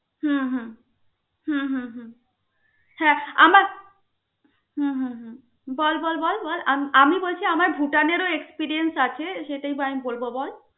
হম হ্যা আমার হম বল বল বল বল. আম~ আমি বলছি আমার ভুটানের ও experience আছে সেটাই তো আমি বলব বল.